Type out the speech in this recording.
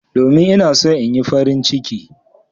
Domin ina so in Yi farin ciki.